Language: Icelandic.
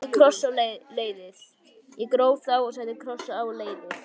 Ég gróf þá og setti kross á leiðið.